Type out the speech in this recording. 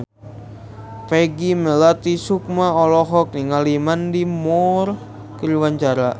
Peggy Melati Sukma olohok ningali Mandy Moore keur diwawancara